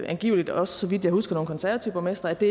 angiveligt også så vidt jeg husker nogle konservative borgmestre det